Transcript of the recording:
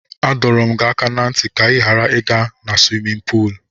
Adọrọ m gị aka ná ntị ka ị ghara ịga na swimin puul.